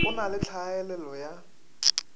go na le tlhaelelo ya